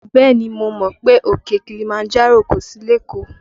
Bẹ́ẹ̀ni mo mọ̀ pé òkè Kilimanjaro kò sí lékòó